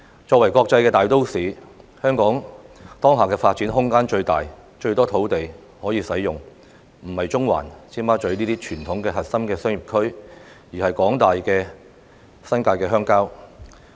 作為國際大都市，香港當下的發展空間最大，有最多土地可以使用，我所指的並不是中環或尖沙咀等傳統核心商業區，而是指廣大的新界鄉郊地區。